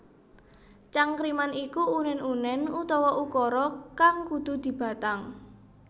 Cangkriman iku unèn unèn utawa ukara kang kudu dibatang